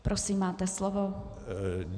Prosím, máte slovo.